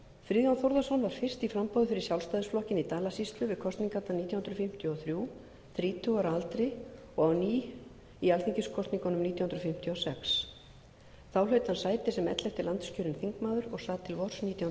friðjón þórðarson var fyrst í framboði fyrir sjálfstæðisflokkinn í dalasýslu við kosningarnar nítján hundruð fimmtíu og þrjú þrítugur að aldri og á ný í alþingiskosningunum nítján hundruð fimmtíu og sex þá hlaut hann sæti sem ellefti landskjörinn þingmaður og sat til vors nítján hundruð fimmtíu